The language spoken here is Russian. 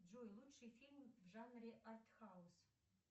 джой лучший фильм в жанре артхаус